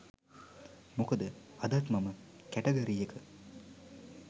මොකද අදත් මම කැටගරි එක